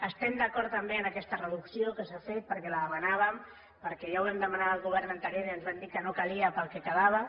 estem d’acord també amb aquesta reducció que s’ha fet perquè la demanàvem perquè ja ho vam demanar al govern anterior i ens van dir que no calia pel que quedava